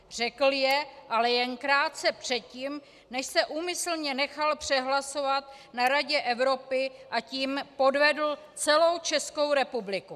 Řekl je ale jen krátce předtím, než se úmyslně nechal přehlasovat na Radě Evropy, a tím podvedl celou Českou republiku.